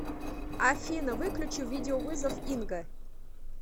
афина выключи видеовызов инга